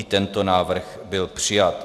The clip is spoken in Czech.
I tento návrh byl přijat.